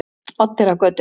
Oddeyrargötu